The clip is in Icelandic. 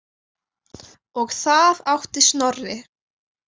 Og það átti Snorri.